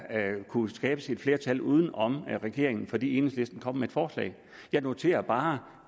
kunne skabes et flertal uden om regeringen fordi enhedslisten kom med et forslag jeg noterer bare